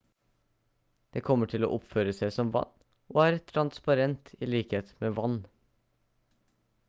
det kommer til å oppføre seg som vann og er transparent i likhet med vann